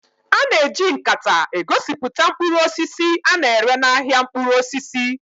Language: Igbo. A na-eji nkata egosipụta mkpụrụ osisi a na-ere n'ahịa mkpụrụ osisi